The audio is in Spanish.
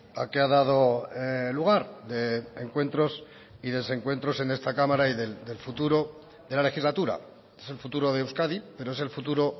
a que ha dado lugar de encuentros y desencuentros en esta cámara y del futuro de la legislatura es el futuro de euskadi pero es el futuro